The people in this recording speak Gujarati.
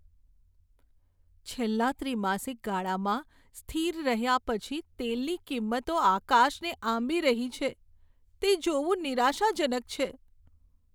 છેલ્લા ત્રિમાસિક ગાળામાં સ્થિર રહ્યા પછી તેલની કિંમતો આકાશને આંબી રહી છે તે જોવું નિરાશાજનક છે.